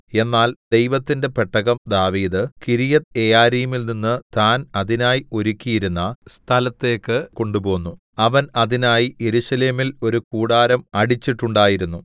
എന്നാൽ ദൈവത്തിന്റെ പെട്ടകം ദാവീദ് കിര്യത്ത്യെയാരീമിൽനിന്ന് താൻ അതിനായി ഒരുക്കിയിരുന്ന സ്ഥലത്തേക്ക് കൊണ്ടുപോന്നു അവൻ അതിനായി യെരൂശലേമിൽ ഒരു കൂടാരം അടിച്ചിട്ടുണ്ടായിരുന്നു